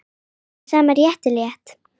Með sama rétti lét